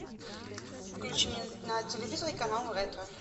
включи мне на телевизоре канал ретро